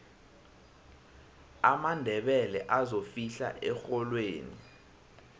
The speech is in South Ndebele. amandebele azofihla erholweni